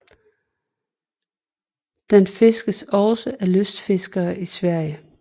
Den fiskes også af lystfiskere i Sverige